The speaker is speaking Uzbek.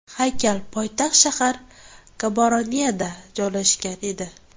Haykal poytaxt shahar Gaboroneda joylashgan edi.